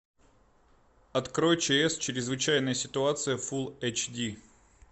открой чс чрезвычайная ситуация фул эйч ди